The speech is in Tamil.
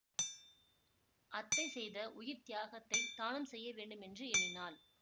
அத்தை செய்த உயிர் தியாகத்தைத் தானும் செய்ய வேண்டுமென்று எண்ணினாள்